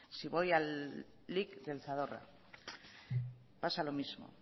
si voy al lic del zadorra pasa lo mismo